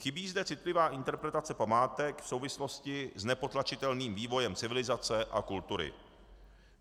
Chybí zde citlivá interpretace památek v souvislosti s nepotlačitelným vývojem civilizace a kultury.